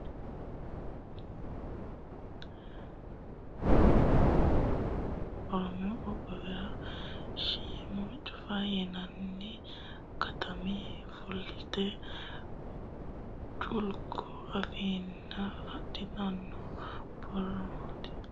Oromiyu qoqqowira Arsi dirisenninna bocunni beeqqite umita zoone shiimu Caffa yinanni katami fulte culku afansha adhitino Oromiyu qoqqowira Arsi Oromiyu.